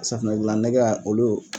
Safinɛ dilan nɛgɛ olu